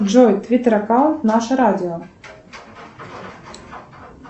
джой твиттер аккаунт наше радио